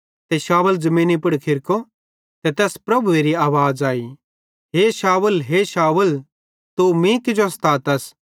ते शाऊल ज़मीनी पुड़ खिरको ते तैस प्रभुएरी आवाज़ आई हे शाऊल हे शाऊल तू मीं किजो स्तातस